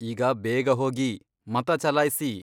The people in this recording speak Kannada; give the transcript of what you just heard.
ಈಗ ಬೇಗ ಹೋಗಿ, ಮತ ಚಲಾಯ್ಸಿ.